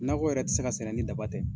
Nakɔ yɛrɛ ti se ka sɛnɛ ni daba tɛ.